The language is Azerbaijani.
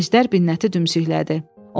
Əjdər Binnəti dümsüklədi.